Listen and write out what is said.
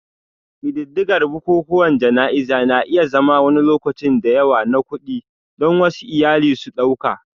Ƙididdigar bukukuwan jana'izar na iya zama wani lokaci da yawa na kuɗi, don wasu iyali su ɗauka